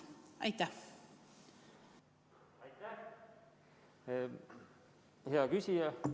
Austatud juhataja!